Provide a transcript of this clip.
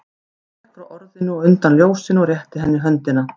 Hann gekk frá orðinu og undan ljósinu og rétti henni höndina.